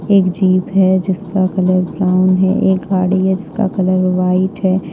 एक जीप है जिसका कलर ब्राउन है एक गाड़ी है जिसका कलर व्हाइट है।